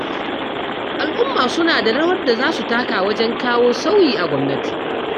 Al'umma suna da rawar da za su taka wajen kawo sauyi a gwamnati